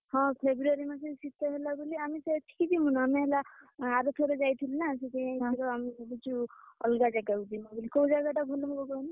ହଁ February ମାସରେ ଶୀତ ବି ଲାଗୁନି ଆମେ ସେଠିକି ଯିବୁନି ଆମେ ହେଲା ଆର ଥରକ ଯାଇଥିଲୁନା, ସେଥିପାଇଁ ଆମେ ଭାବିଛୁ ଅଲଗା ଜାଗାକୁ ଯିବୁ ବୋଲି କୋଉ ଜାଗା ଟା ଭଲ ହବ କହନି?